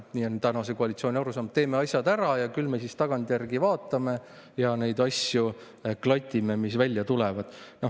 Selline on tänase koalitsiooni arusaam, et teeme asjad ära ja küll me siis tagantjärgi vaatame ja klatime asju, mis välja tulevad.